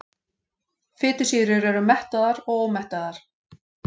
Fitusýrur eru mettaðar og ómettaðar.